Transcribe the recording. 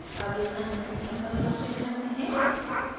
अब एक अन्य सिस्टम परिभाषित करते हैं